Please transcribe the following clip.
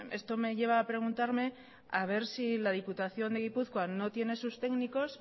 esto me lleva a preguntarme a ver si la diputación de gipuzkoa no tiene sus técnicos